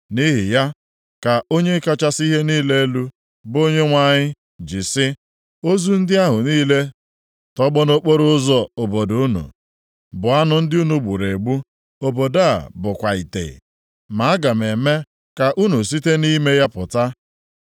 “Nʼihi ya ka Onye kachasị ihe niile elu, bụ Onyenwe anyị ji sị, ozu ndị ahụ niile tọgbọ nʼokporoụzọ obodo unu bụ anụ ndị ahụ unu gburu egbu, obodo a bụkwa ite. Ma aga m eme ka unu site nʼime ya pụta.